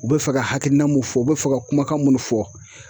U bɛ fɛ ka hakilina mun fɔ, u bɛ fɛ ka kumakan mun fɔ.